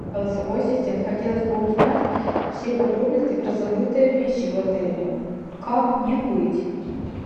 голосовой ассистент хотелось бы узнать все подробности про забытые вещи в отеле как мне быть